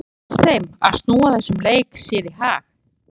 Tekst þeim að snúa þessum leik sér í hag?